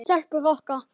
Stelpur Rokka!